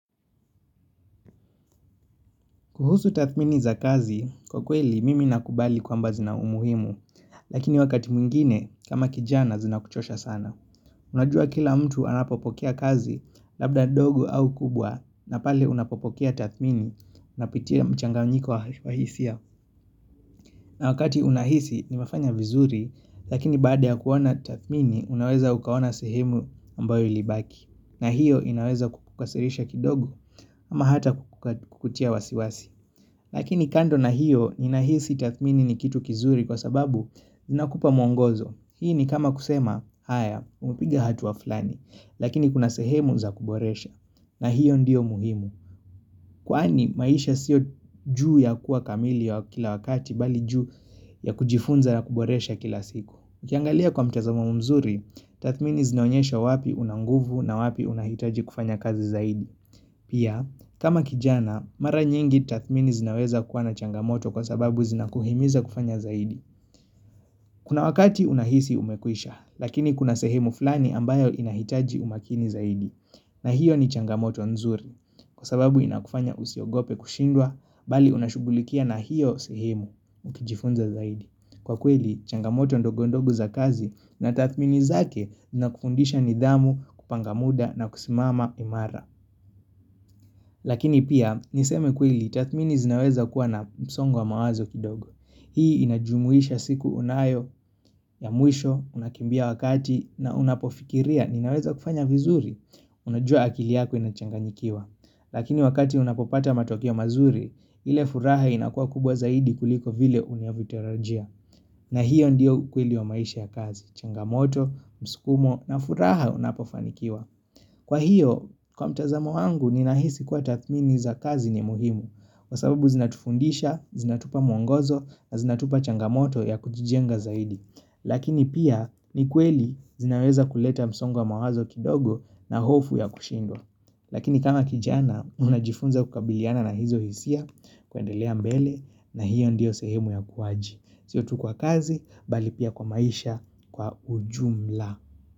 Kuhusu tathmini za kazi, kwa kweli mimi nakubali kwamba zina umuhimu, lakini wakati mwingine kama kijana zinakuchosha sana. Unajua kila mtu anapopokea kazi labda ndogo au kubwa na pale unapopokea tathmini unapitia mchanganyiko wa hisia. Na wakati unahisi nimefanya vizuri, lakini baada ya kuona tathmini unaweza ukaona sehemu ambayo ilibaki. Na hiyo inaweza kukukasirisha kidogo ama hata kukutia wasiwasi. Lakini kando na hiyo, ninahisi tathmini ni kitu kizuri kwa sababu, inakupa mwongozo. Hii ni kama kusema, haya, umepiga hatua fulani, lakini kuna sehemu za kuboresha. Na hiyo ndio muhimu, kwani maisha sio juu ya kuwa kamili au kila wakati, bali juu ya kujifunza ya kuboresha kila siku. Ukiangalia kwa mtazamo mzuri, tathmini zinaonyesha wapi una nguvu na wapi unahitaji kufanya kazi zaidi. Pia, kama kijana, mara nyingi tathmini zinaweza kuwa na changamoto kwa sababu zinakuhimiza kufanya zaidi. Kuna wakati unahisi umekwisha, lakini kuna sehemu fulani ambayo inahitaji umakini zaidi. Na hiyo ni changamoto nzuri, kwa sababu inakufanya usiogope kushindwa, bali unashugulikia na hiyo sehemu, ukijifunza zaidi. Kwa kweli, changamoto ndogo ndogo za kazi na tathmini zake zinakufundisha nidhamu kupanga muda na kusimama imara. Lakini pia niseme kweli tathmini zinaweza kuwa na msongo wa mawazo kidogo. Hii inajumuisha siku unayo ya mwisho unakimbia wakati na unapofikiria ninaweza kufanya vizuri. Unajua akili yako inachanganyikiwa. Lakini wakati unapopata matokeo mazuri, ile furaha inakuwa kubwa zaidi kuliko vile unavyotarajia. Na hiyo ndiyo ukweli wa maisha ya kazi. Changamoto, msukumo na furaha unapofanikiwa. Kwa hiyo, kwa mtazamo wangu, ninahisi kuwa tathmini za kazi ni muhimu, kwa sababu zinatufundisha, zinatupa mwongozo, na zinatupa changamoto ya kutijenga zaidi. Lakini pia, ni kweli zinaweza kuleta msongo wa mawazo kidogo na hofu ya kushindwa. Lakini kama kijana, unajifunza kukabiliana na hizo hisia, kwendelea mbele, na hiyo ndiyo sehemu ya ukuwaji. Sio tu kwa kazi, bali pia kwa maisha, kwa ujumla.